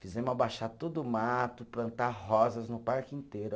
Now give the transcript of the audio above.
Fizemos abaixar todo o mato, plantar rosas no parque inteiro.